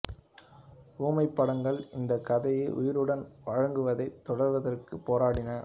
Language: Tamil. ஊமைப் படங்கள் இந்தக் கதையை உயிருடன் வழங்குவதைத் தொடர்வதற்கு போராடின